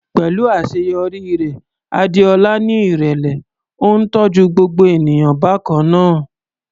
Pẹ̀lú àṣeyọrí rẹ̀, Adeola ní ìrẹ̀lẹ̀, ó ń tọ́jú gbogbo ènìyàn bákan náà.